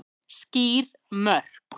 Skýr mörk